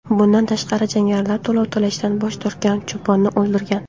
Bundan tashqari, jangarilar to‘lov to‘lashdan bosh tortgan cho‘ponni o‘ldirgan.